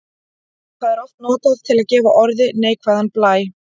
Það er oft notað til að gefa orði neikvæðan blæ.